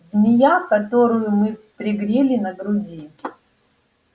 змея которую мы пригрели на груди